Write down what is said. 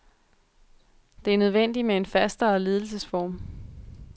Det er nødvendigt med en fastere ledelsesform.